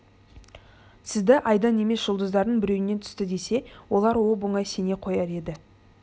сізді айдан емес жұлдыздардың біреуінен түсті десе олар оп-оңай сене қояр еді